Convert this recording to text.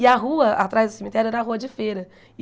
E a rua atrás do cemitério era a rua de feira.